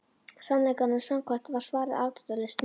Sannleikanum samkvæmt var svarið afdráttarlaust nei.